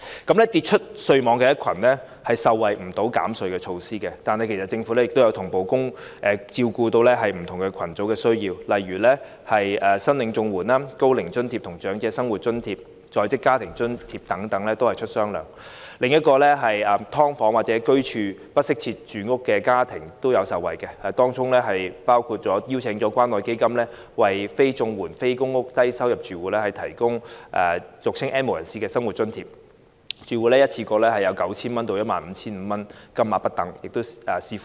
至於跌出稅網的一群，他們不能受惠於減稅措施，但政府其實已經同步照顧不同群組的需要，例如向領取綜合社會保障援助、高齡津貼、長者生活津貼及在職家庭津貼等的人士發放"雙糧"。此外，居於"劏房"或不適切住房的家庭亦有受惠，當中包括邀請關愛基金為非綜援、非公屋的低收入住戶提供俗稱的 "N 無人士"生活津貼，住戶可一次過獲得 9,000 元至 15,500 元不等，視乎人數而定。